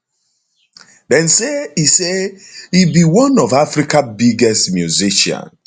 dem say e say e be one of africa biggest musicians